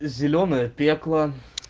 зелёная пекло